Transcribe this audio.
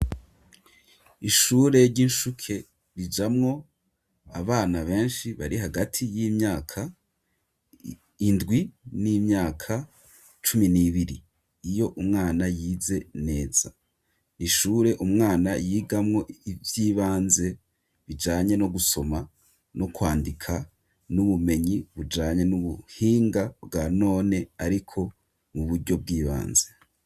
Ishure ry'incuke rijamwo abana benshi bari hagati y'imyaka indwi n'imyaka cumi nibiri iyo umwana yize neza, ishure umwana yigamwo ivy'ibanze bijanye no gusoma no kwandika n'ubumenyi bujanye n'ubuhinga bwa none ariko mu buryo bw'ibanze.